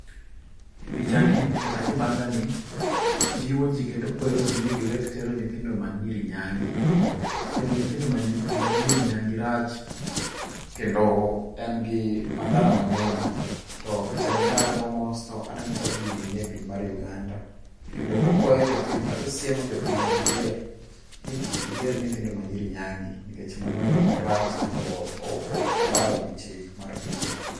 Picha ni kata kibanga ni jiwo jii kendo kwero ji ni giwek tero nyithindo ma nyiri nyangi. Tero nyithindo ma nyiri nyangi rach kendo en gi madhara mang'eny. To picha ni karango mos to aneno ka gini nie piny mar Uganda. Kendo okwayo jopiny kata osiemo jopiny mager ni kik giter nyithindo ma nyiri nyangi. Nikech mano rach kendo oko obalo gi chik mar pinyno.